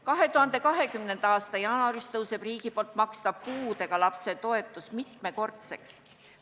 2020. aasta jaanuaris tõuseb riigi makstav puudega lapse toetus mitmekordseks.